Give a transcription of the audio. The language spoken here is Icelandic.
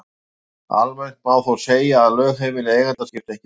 Almennt má þó segja að lögheimili eiganda skipti ekki máli.